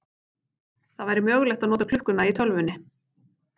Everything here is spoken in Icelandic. Það væri mögulegt að nota klukkuna í tölvunni.